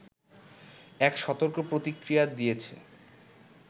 এক সতর্ক প্রতিক্রিয়া দিয়েছে